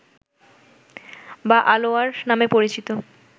বা আলোয়ার নামে পরিচিত